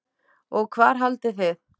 Og hvar haldið þið?